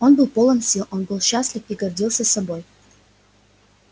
он был полон сил он был счастлив и гордился собой